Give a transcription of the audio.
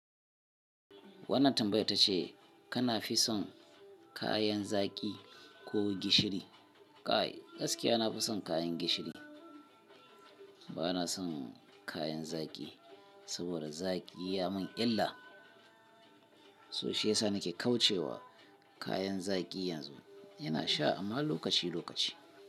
Wannan tambayar tace kana fi son kayan zaki ko gishiri? Kai gaskiya nafi son kayan gishiri. Bana son kayan zaƙi saboda zaƙi yayi mun illa sosai. Yasa nake kauce wa kayan zaƙi yana sha amma lokaci-lokaci.